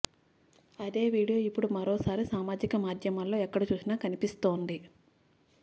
అదే వీడియో ఇప్పుడు మరోసారి సామాజిక మాధ్యమాల్లో ఎక్కడ చూసినా కనిపిస్తోంది